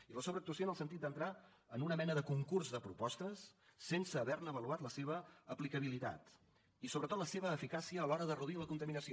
i la sobreactuació en el sentit d’entrar en una mena de concurs de propostes sense haver ne avaluat la seva aplicabilitat i sobretot la seva eficàcia a l’hora de reduir la contaminació